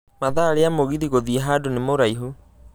mathaa rĩa mũgithi gũthiĩ handũ nĩ muraihũ